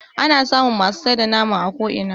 ana samun masu sai da nama a ko'ina